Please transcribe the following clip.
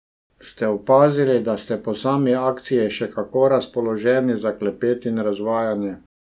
Ste opazili, da ste po sami akciji še kako razpoloženi za klepet in razvajanje?